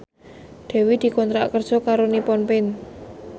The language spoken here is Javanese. Dewi dikontrak kerja karo Nippon Paint